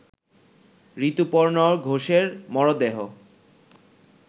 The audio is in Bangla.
ঋতুপর্ণ ঘোষের মরদেহ